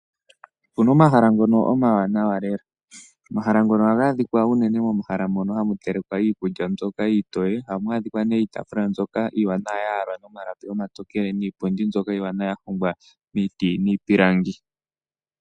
Opuna omahala ngono omawanawa lela. Omahala ngono ohaga adhika unene momahala mono hamu telekwa iikulya mbyoka iitoye, ohamu adhika nee iitafula mbyoka iiwanawa ya yalwa nomalapi omatokele, niipundi mbyoka iiwanawa ya hongwa miiti niipilangi.